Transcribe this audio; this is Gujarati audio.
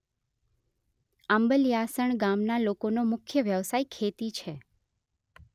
આંબલીયાસણ ગામના લોકોનો મુખ્ય વ્યવસાય ખેતી છે